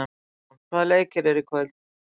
Bergrún, hvaða leikir eru í kvöld?